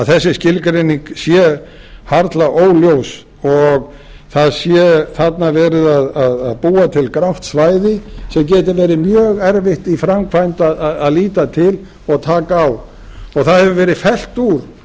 þessi skilgreining sé harla óljós og það sé þarna verið að búa til grátt svæði sem geti verið mjög erfitt í framkvæmd að líta til og taka á og það hefur verið fellt úr